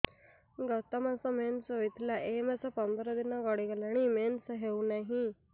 ଗତ ମାସ ମେନ୍ସ ହେଇଥିଲା ଏ ମାସ ପନ୍ଦର ଦିନ ଗଡିଗଲାଣି ମେନ୍ସ ହେଉନାହିଁ